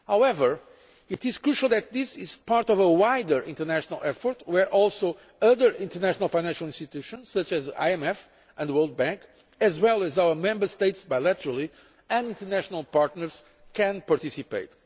However, it is crucial that this is part of a wider international effort where other international financial institutions, such as the IMF and the World Bank, as well as our Member States bilaterally and international partners, can also participate.